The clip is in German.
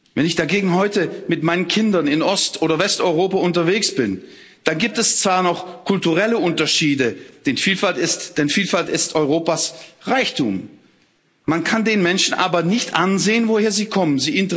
Wenn ich dagegen heute mit meinen Kindern in Ost oder Westeuropa unterwegs bin, dann gibt es zwar noch kulturelle Unterschiede, denn Vielfalt ist Europas Reichtum, man kann den Menschen aber nicht ansehen, woher sie kommen.